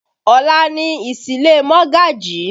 Ọ̀la ni ìsílé Mogaji